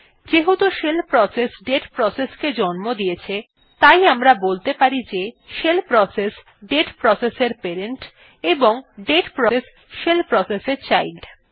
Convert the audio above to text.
যেহেতু shell process দাতে process কে জন্ম দিয়েছে তাই আমরা বলতে পারি যে শেল প্রসেস দাতে প্রসেস এর প্যারেন্ট এবং দাতে প্রসেস শেল প্রসেস এর চাইল্ড